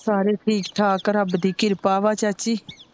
ਸਾਰੇ ਠੀਕ ਠਾਕ ਰਬ ਦੀ ਕਿਰਪਾ ਵਾ ਚਾਚੀ।